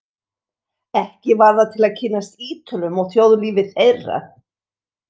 Ekki var það til að kynnast Ítölum og þjóðlífi þeirra.